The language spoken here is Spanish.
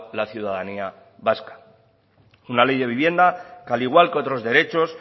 la ciudadanía vasca una ley de vivienda que al igual que otros derechos